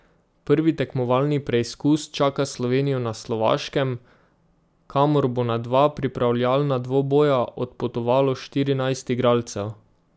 Prvi tekmovalni preizkus čaka Slovenijo na Slovaškem, kamor bo na dva pripravljalna dvoboja odpotovalo štirinajst igralcev.